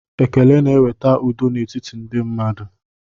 Ekele na-eweta udo n'etiti ndị mmadụ